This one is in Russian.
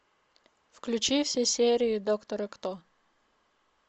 включи все серии доктора кто